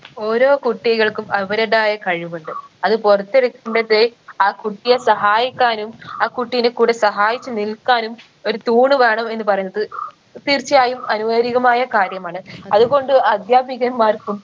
ഓരോ കുട്ടികൾക്കും അവരതായ കഴിവുണ്ട് അത് പുറത്തെടുക്കേണ്ടത് ആ കുട്ടിയെ സഹായിക്കാനും ആ കുട്ടീൻറെ കൂടെ സഹായിച്ച് നിൽക്കാനും ഒരു തൂണ് വേണം എന്ന് പറയുന്നത് തീർച്ചയായും അനുവാരീകമായ കാര്യമാണ് അതുകൊണ്ട് അധ്യാപികന്മാർക്കും